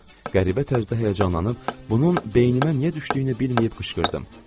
Qəribə tərzdə həyəcanlanıb, bunun beynimə niyə düşdüyünü bilməyib qışqırdım.